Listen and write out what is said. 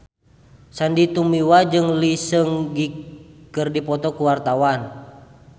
Sandy Tumiwa jeung Lee Seung Gi keur dipoto ku wartawan